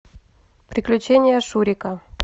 приключения шурика